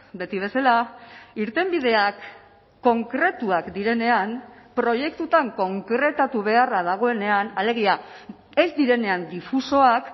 beti bezala irtenbideak konkretuak direnean proiektutan konkretatu beharra dagoenean alegia ez direnean difusoak